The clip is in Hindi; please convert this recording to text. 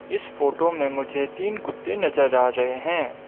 इस फोटो में मुझे तीन कुत्ते नजर आ रहे हैं।